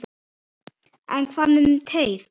En hvað með teið?